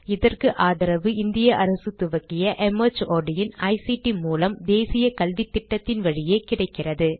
இதற்கு ஆதரவு இந்திய அரசு துவக்கிய மார்ட் இன் ஐசிடி மூலம் தேசிய கல்வித்திட்டத்தின் வழியே கிடைக்கிறது